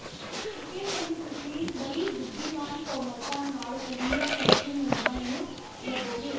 ਕਿਤੇ ਨਹੀਂ ਤੁਸੀਂ ਬੜੀ ਬੁੱਧੀਮਾਨ ਕੋਮਲਤਾ ਨਾਲ ਅਜਿਹੇ ਅਨੋਖੇ ਮੰਦਰਾਂ ਨੂੰ ਲੱਭੋਗੇ